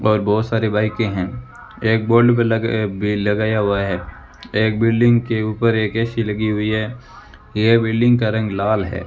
और बहुत सारे बाईकें हैं एक ब्लैक भी लगाया हुआ है एक बिल्डिंग के ऊपर एक ए_सी लगी हुई है ये बिल्डिंग का रंग लाल है।